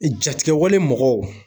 Jatigɛwale mɔgɔw